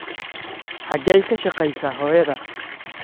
Xageey ka shaqeysaa hoyadaa?